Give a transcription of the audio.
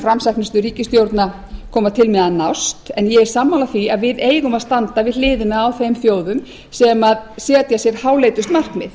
framsæknustu ríkisstjórna koma til með að nást en ég er sammála því að við eigum að standa við hliðina á þeim þjóðum sem setja sér háleitust markmið